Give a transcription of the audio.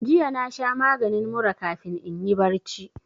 Jiya na sha maginin mura kafin inyi barci